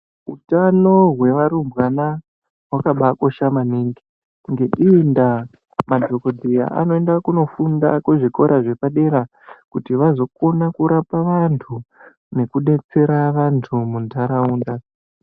Hutano hwevarumbwana hwakaba kosha maningi ngeiyi nda madhokodheya anoenda kundofunda kuzvikora zvepadera kuti vazokona kuzorapa vantu nekudetsera vantu mundaraunda.